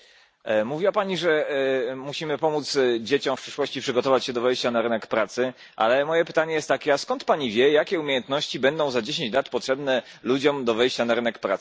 Mówiła Pani, że musimy pomóc dzieciom w przyszłości przygotować się do wejścia na rynek pracy, ale moje pytanie jest takie a skąd Pani wie jakie umiejętności będą za 10 lat potrzebne ludziom do wejścia na rynek pracy?